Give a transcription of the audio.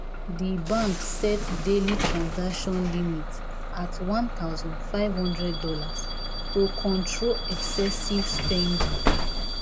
the bank set daily transaction limit at one thousand five hundred dollars to control excessive spending.